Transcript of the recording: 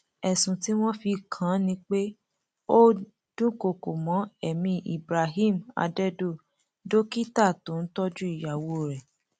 ẹsùn tí wọn fi kàn án ni pé ó dúnkookò mọ ẹmí ibrahim adẹdọ dókítà tó ń tọjú ìyàwó rẹ